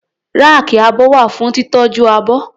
Ráàkì abọ́ wà fún títọ́jú abọ́.